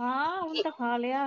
ਹਾਂ ਓਹਨੇ ਤਾ ਖਾਲਿਆ